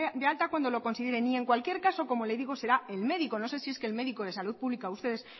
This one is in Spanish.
de alta cuando lo consideren y en cualquier caso como le digo será el médico no sé si es que el médico de salud pública a ustedes